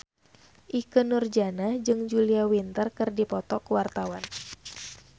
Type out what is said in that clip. Ikke Nurjanah jeung Julia Winter keur dipoto ku wartawan